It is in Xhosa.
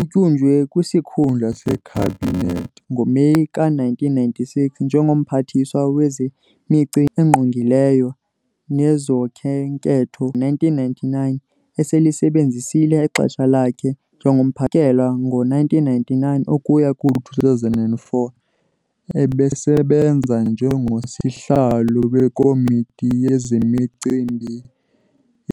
Utyunjwe kwisikhundla sekhabinet ngo-Meyi ka-1996, njengo-Mphathiswa Wezemicimbi Engqongileyo Nezokhenketho ngo-1999 eselisebenzisile ixesha lakhe njengompha. kusukela ngo-1999 ukuya ku-2004, ebesebenza njengo-Sihlalo weKomiti yezeMicimbi